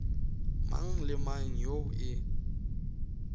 mang le mang yo e